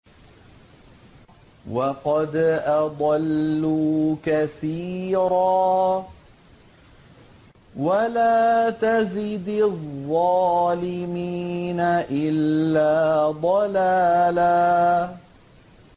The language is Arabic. وَقَدْ أَضَلُّوا كَثِيرًا ۖ وَلَا تَزِدِ الظَّالِمِينَ إِلَّا ضَلَالًا